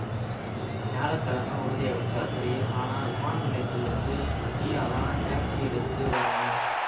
வியாழ கிழம உறுதியாயிடுச்சா சரி ஆனா விமான நிலையத்தில இருந்து நீயாதான் டேக்சி எடுத்து வரணும்